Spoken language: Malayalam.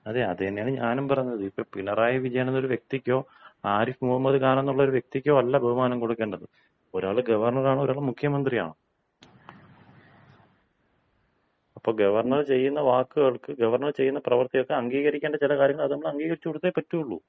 അതേ, അത് തന്നെയാണ് ഞാനും പറഞ്ഞത്. ഇത് ഇപ്പോ പിണറായി വിജയൻ എന്ന ഒരു വ്യക്തിക്കോ, ആരിഫ് മുഹമ്മദ് ഖാൻ എന്ന ഒരു വ്യക്തിക്കോ അല്ല ബഹുമാനം കൊടുക്കേണ്ടത്, ഒരാൾ ഗവർണർ ആണ്, ഒരാൾ മുഖ്യമന്ത്രിയാണ്. അപ്പോൾ ഗവർണർ ചെയ്യുന്ന വാക്കുകൾക്ക് ഗവർണർ ചെയ്യുന്ന പ്രവർത്തികൾക്ക് അംഗീകരിക്കേണ്ട ചില കാര്യങ്ങൾ നമ്മൾ അംഗീകരിച്ചു കൊടുത്തേ പറ്റൂള്ളൂ.